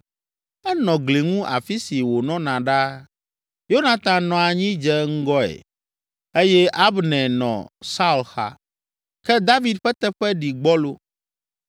Enɔ gli ŋu afi si wònɔna ɖaa. Yonatan nɔ anyi dze ŋgɔe eye Abner nɔ Saul xa, ke David ƒe teƒe ɖi gbɔlo.